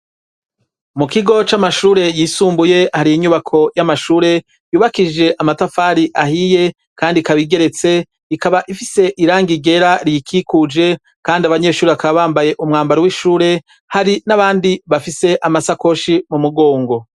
Mu kigo c'amashure yisumbuye hari inyubako y'amashure yubakishije amatafari ahiye kandi ikaba igeretse ikaba ifise irangi ryera riyikikuje kandi abanyeshure bakaba bambaye umwambaro w'ishure, hari n'abandi bafise amasakoshi mu mugongo.